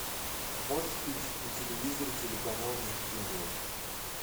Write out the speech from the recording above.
можешь включить на телевизоре телеканал ник джуниор